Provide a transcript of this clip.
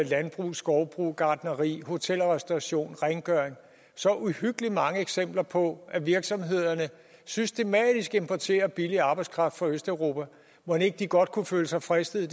landbrug skovbrug gartneri hotel og restauration rengøring så uhyggelig mange eksempler på at virksomhederne systematisk importerer billig arbejdskraft fra østeuropa mon ikke de godt kunne føle sig fristet